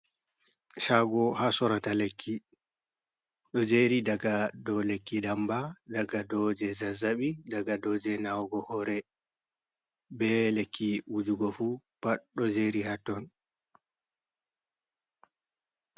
Shago ha sorata lekki. Ɗo jeri daga ɗow lekki ɗamba, ɗaga ɗoje zazzabi, ɗaga ɗow je nawugo hore. Be lekki wujugo fu pat ɗo jeri ha ton.